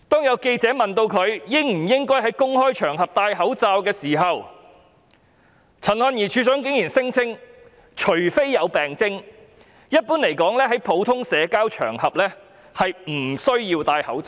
有記者問衞生署署長陳漢儀應否在公開場合佩戴口罩，她竟然聲稱除非有病徵，一般來說在普通社交場合不需要佩戴口罩。